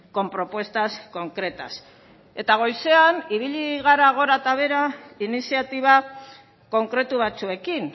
con propuestas concretas eta goizean ibili gara gora eta behera iniziatiba konkretu batzuekin